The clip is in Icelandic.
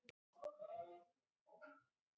já, hún hafði gefið mér hljómborð.